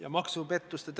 Aitäh!